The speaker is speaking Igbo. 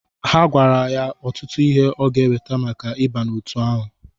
Ha gwara ya ọtụtụ ihe ọ gá eweta maka ịba n'otu ahụ.